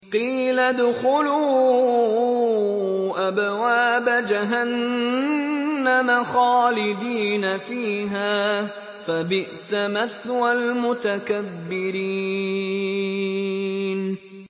قِيلَ ادْخُلُوا أَبْوَابَ جَهَنَّمَ خَالِدِينَ فِيهَا ۖ فَبِئْسَ مَثْوَى الْمُتَكَبِّرِينَ